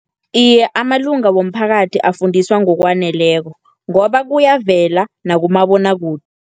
Iye, amalunga womphakathi afundiswa ngokwaneleko, ngoba kuyavela nakumabonwakude.